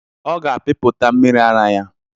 Ọ ga-apịpụta mmiri ara ya.